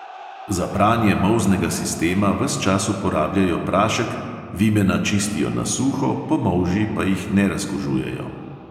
Za pranje molznega sistema ves čas uporabljajo prašek, vimena čistijo na suho, po molži pa jih ne razkužujejo.